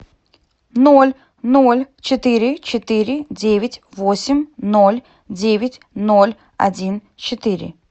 ноль ноль четыре четыре девять восемь ноль девять ноль один четыре